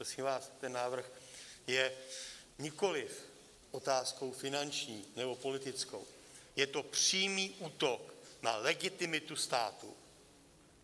Prosím vás, ten návrh je nikoli otázkou finanční nebo politickou, je to přímý útok na legitimitu státu.